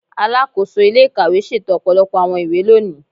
Alakoso ile-ikawe ṣeto ọpọlọpọ awọn iwe loni